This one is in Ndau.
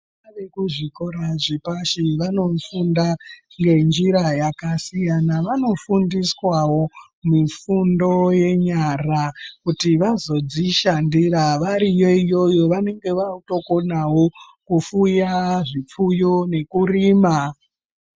Vana vekuzvikora zvepashi vanofunda ngenjira yakasiyana. Vanofundiswawo mifundo yenyara kuti vazodzishandira. Variyo iyoyo vanenge vakutokonawo kufuya zvipfuyo nekurima.